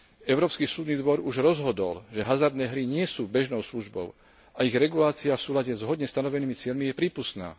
Európsky súdny dvor už rozhodol, že hazardné hry nie sú bežnou službou a ich regulácia v súlade s vhodne stanovenými cieľmi je prípustná.